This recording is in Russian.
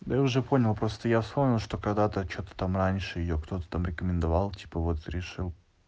да я уже понял просто я вспомнил что когда-то что-то там раньше её кто-то там рекомендовал типа вот решил